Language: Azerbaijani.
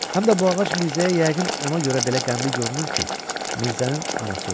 Həm də bu ağac Mirzəyə yəqin ona görə belə qəmli görünür ki, Mirzənin anası ölüb.